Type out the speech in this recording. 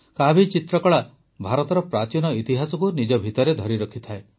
କାଭି ଚିତ୍ରକଳା ଭାରତର ପ୍ରାଚୀନ ଇତିହାସକୁ ନିଜ ଭିତରେ ଧରିରଖିଥାଏ